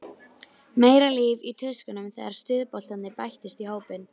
Meira líf í tuskunum þegar stuðboltarnir bættust í hópinn.